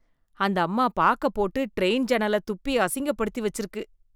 அந்த அம்மா பாக்க போட்டு ட்ரெயின் ஜன்னலத் துப்பி அசிங்கப்படுத்தி வெச்சிருக்கு